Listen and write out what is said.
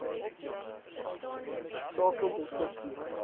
skakel dr c